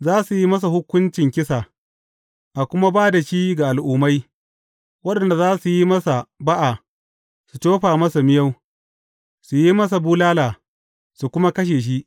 Za su yi masa hukuncin kisa, a kuma ba da shi ga Al’ummai, waɗanda za su yi masa ba’a, su tofa masa miyau, su yi masa bulala, su kuma kashe shi.